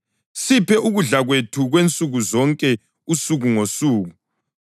Siphe ukudla kwethu kwansukuzonke usuku ngosuku.